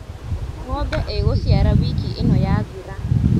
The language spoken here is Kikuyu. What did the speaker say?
Ngombe ĩgũciara wiki ĩno yathira.